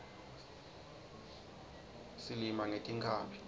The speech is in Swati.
silima ngetinkhabi